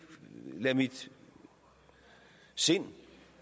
lade mit sind